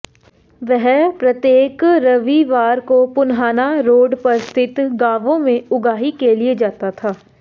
वह प्रत्येक रविवार को पुन्हाना रोड पर स्थित गावों में उगाही के लिए जाता था